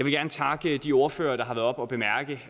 gerne takke de ordførere der har været oppe